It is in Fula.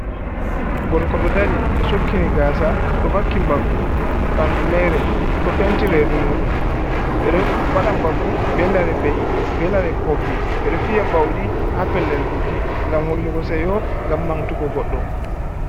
Gorko do dari o sukkini gasa do vakki mbaggu bandu mare do penti redu mudum' wadam baggu be lare be’i be lare pobbi bere fiya baudi ha pellel buki gam hollugo seyo gam mantugo goddo.